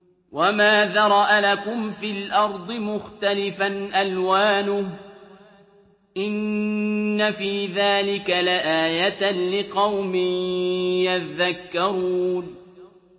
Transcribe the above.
وَمَا ذَرَأَ لَكُمْ فِي الْأَرْضِ مُخْتَلِفًا أَلْوَانُهُ ۗ إِنَّ فِي ذَٰلِكَ لَآيَةً لِّقَوْمٍ يَذَّكَّرُونَ